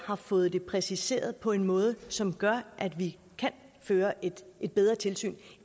har fået det præciseret på en måde som gør at vi kan føre et bedre tilsyn